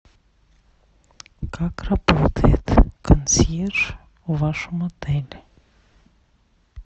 как работает консьерж в вашем отеле